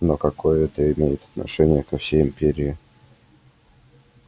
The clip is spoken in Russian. но какое это имеет отношение ко всей империи